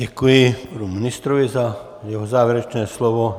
Děkuji panu ministrovi za jeho závěrečné slovo.